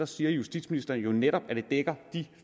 siger justitsministeren jo netop at det dækker de